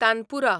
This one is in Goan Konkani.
तानपुरा